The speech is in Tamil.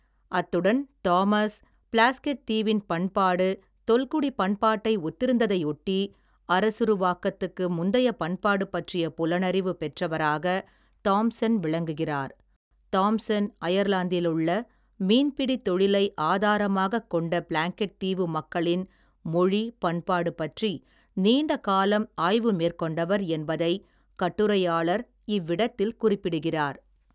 அத்துடன்தாமஸ், ப்ளாஸ்கெட் தீவின் பண்பாடு, தொல்குடிப் பண்பாட்டை ஒத்திருந்ததையொட்டி, அரசுருவாக்கத்துக்கு முந்தைய பண்பாடு பற்றிய புலனறிவு, பெற்றவராக, தாம்சன் விளங்குகிறார் தாம்சன், அயர்லாந்திலுள்ள, மீன்பிடி தொழிலை, ஆதாரமாகக் கொண்ட, ப்ளாங்கெட் தீவு மக்களின் மொழி, பண்பாடு பற்றி, நீண்ட காலம், ஆய்வு மேற்கொண்டவர் என்பதைக், கட்டுரையாளர், இவ்விடத்தில், குறிப்பிடுகிறார்.